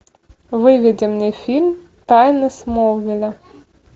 выведи мне фильм тайны смолвиля